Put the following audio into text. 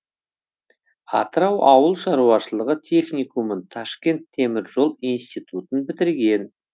атырау ауыл шаруашылығы техникумын ташкент темір жол институтын бітірген